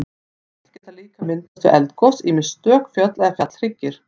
Fjöll geta líka myndast við eldgos, ýmist stök fjöll eða fjallhryggir.